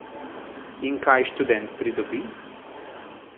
In kaj študent pridobi?